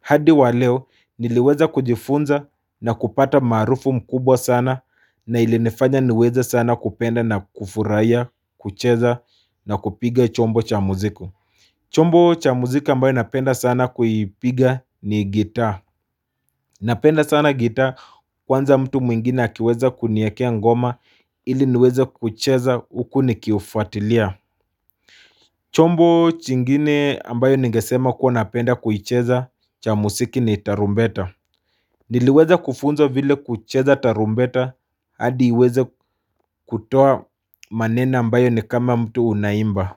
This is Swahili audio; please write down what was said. hadi waleo niliweza kujifunza na kupata marufu mkubwa sana na ilinifanya niweza sana kupenda na kufurahia, kucheza na kupiga chombo cha muziku. Chombo cha muziku ambayo napenda sana kuipiga ni gita. Napenda sana gita kwanza mtu mwingine hakiweza kuniakea ngoma ili niweza kucheza uku nikiufatilia. Chombo chingine ambayo nigesema kuwa napenda kuicheza cha muziki ni tarumbeta. Niliweza kufunzwa vile kucheza tarumbeta hadi iweza kutoa manena ambayo ni kama mtu unaimba.